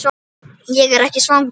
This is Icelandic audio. Ég er ekki svangur